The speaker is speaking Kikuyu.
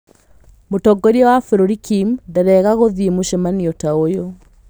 Mũtongoria wa bũrũri Kim ndarĩaga gũthiĩ mũcemanio ta ũyũ.